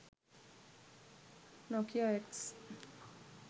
nokia x